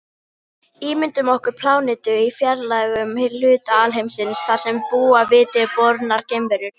Ímyndum okkur plánetu í fjarlægum hluta alheimsins þar sem búa viti bornar geimverur.